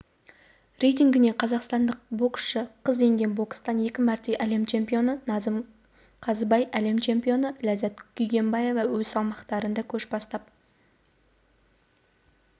рейтінгіне қазақстандық боксшы қыз енген бокстан екі мәрте әлем чемпионы назым қызайбай мен әлем чемпионы ләззат күнгейбаева өз салмақтарында көш бастап